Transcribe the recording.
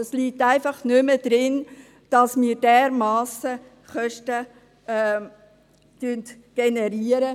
Es liegt einfach nicht mehr drin, dass wir mit diesen Therapien dermassen Kosten generieren.